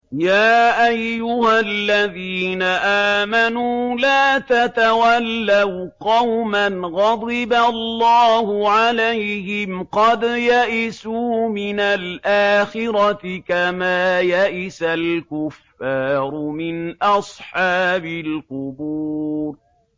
يَا أَيُّهَا الَّذِينَ آمَنُوا لَا تَتَوَلَّوْا قَوْمًا غَضِبَ اللَّهُ عَلَيْهِمْ قَدْ يَئِسُوا مِنَ الْآخِرَةِ كَمَا يَئِسَ الْكُفَّارُ مِنْ أَصْحَابِ الْقُبُورِ